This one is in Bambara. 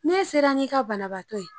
Ne sera n'i ka banabaatɔ ye